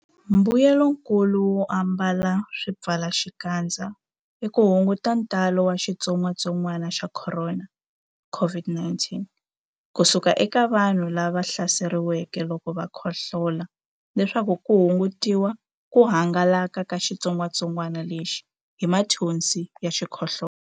Mbuyelonkulu wo ambala swipfalaxikandza i ku hunguta ntalo wa xitsongwantsongwana xa Khorona, COVID-19, ku suka eka vanhu lava hlaseriweke loko va khohlola leswaku ku hungutiwa ku hangalaka ka xitsongwantsongwana lexi hi mathonsi ya xikhohlola.